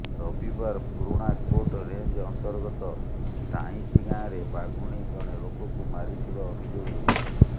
ରବିବାର ପୁରୁଣାକୋଟ ରେଞ୍ଜ ଅନ୍ତର୍ଗତ ଟାଇଁସି ଗାଁରେ ବାଘୁଣୀ ଜଣେ ଲୋକଙ୍କୁ ମାରିଥିବା ଅଭିଯୋଗ ହୋଇଥିଲା